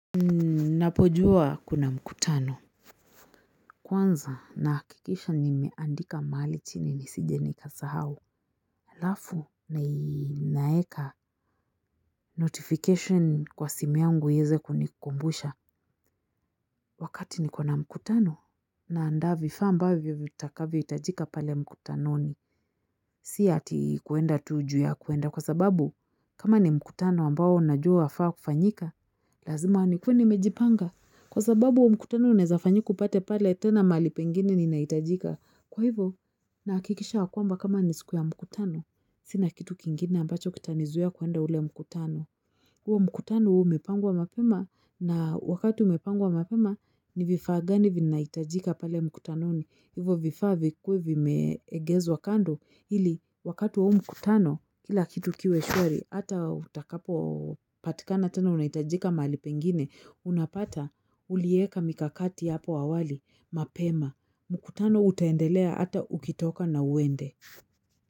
Ninapojua kuna mkutano, kwanza nahakikisha nimeandika mahali chini nisije nikasahau. Alafu ninaeka notification kwa simi yangu iweze kunikumbusha. Wakati niko na mkutano naanda vifaa ambavyo vitakavyo hitajika pale mkutanoni. Sia ati kuenda tu ju ya kuenda kwa sababu kama ni mkutano ambayo unajua wafa kufanyika. Lazima nikuwe nimejipanga. Kwa sababu huo mkutano unaeza patako pale tena mahali pengini ninahitajika. Kwa hivo nahakikisha kwamba kama ni siku ya mkutano. Sina kitu kingine ambacho kitanizuia kuenda ule mkutano. Huo mkutano uwe umepangwa mapema na wakatu umepangwa mapema ni vifaa gani vinahitajika pale mkutano hivyo vifaa vikuwe vimeegezwa kando ili wakati huo mkutano kila kitu kiwe shwari hata utakapo patikana tena unahitajika mahali pengine unapata ulieka mikakati hapo awali mapema mkutano utendelea hata ukitoka na uende.